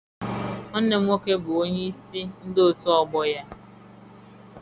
Nwanne m nwoke bụ onyeisi ndị otu ọgbọ ya.